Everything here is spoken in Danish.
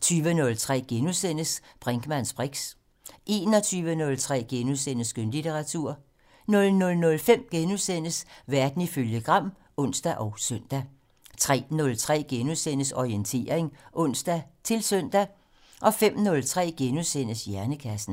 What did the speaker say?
20:03: Brinkmanns briks * 21:03: Skønlitteratur * 00:05: Verden ifølge Gram *(ons og søn) 03:03: Orientering *(ons-søn) 05:03: Hjernekassen *